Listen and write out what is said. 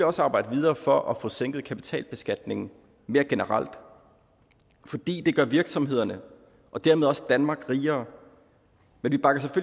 også arbejde videre for at få sænket kapitalbeskatningen mere generelt fordi det gør virksomhederne og dermed også danmark rigere men